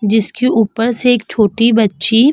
जिसके उपर से एक छोटी बच्ची --